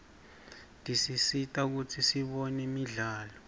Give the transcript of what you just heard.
tisisita kutsi sibone imidlalo